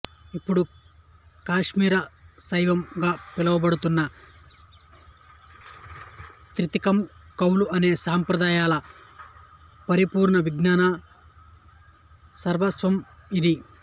ఇప్పుడు కాశ్మీర శైవం గా పిలువబడుతున్న త్రికం కౌల అనే సాంప్రదాయాల పరిపూర్ణ విజ్ఞాన సర్వస్వం ఇది